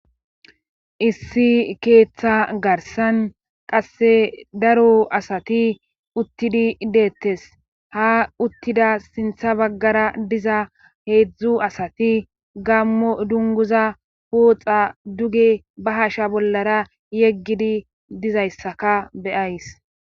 Issi keeththa garsan qasse daro asati uttidi ideettes ha uttida sintha baggara diza heedzdzu asati gammo dunguza pooxa duge ba hasha bollara yeggidi dizayssaka beyays.